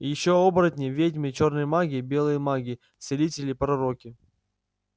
ещё оборотни ведьмы чёрные маги белые маги целители пророки